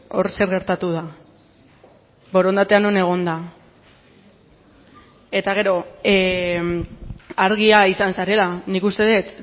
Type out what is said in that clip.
hor zer gertatu da borondatea non egon da eta gero argia izan zarela nik uste dut